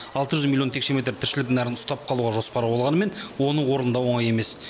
алты жүз миллион текше метр тіршілік нәрін ұстап қалуға жоспар болғанымен оны орындау оңай емес